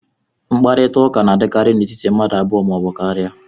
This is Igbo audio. mkparịta ụka na-adịkarị n'etiti mmadụ abụọ ma ọ bụ karịa